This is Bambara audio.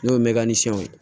N'o ye mɛkaniw ye